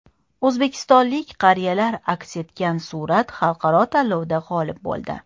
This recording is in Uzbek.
O‘zbekistonlik qariyalar aks etgan surat xalqaro tanlovda g‘olib bo‘ldi.